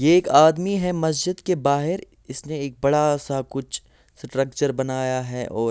ये एक आदमी हैं मस्जिद के बाहर इसमे एक बड़ा सा कुछ स्ट्रक्चर बनाया हैं और--